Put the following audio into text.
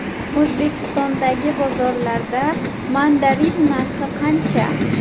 O‘zbekistondagi bozorlarda mandarin narxi qancha?.